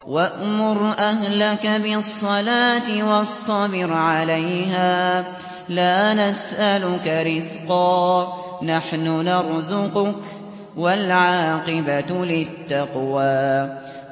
وَأْمُرْ أَهْلَكَ بِالصَّلَاةِ وَاصْطَبِرْ عَلَيْهَا ۖ لَا نَسْأَلُكَ رِزْقًا ۖ نَّحْنُ نَرْزُقُكَ ۗ وَالْعَاقِبَةُ لِلتَّقْوَىٰ